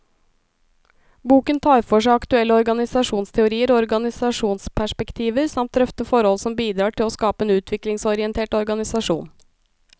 Boken tar for seg aktuelle organisasjonsteorier og organisasjonsperspektiver, samt drøfter forhold som bidrar til å skape en utviklingsorientert organisasjon.